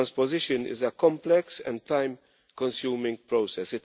The transposition is a complex and time consuming process.